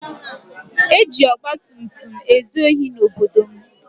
E ji ọgbatumtum ezu ohi n'obodo m.